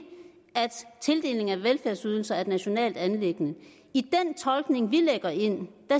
at tildeling af velfærdsydelser er et nationalt anliggende i den tolkning vi lægger ind